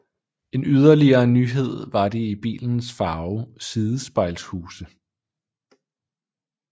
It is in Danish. En yderligere nyhed var de i bilens farve sidespejlshuse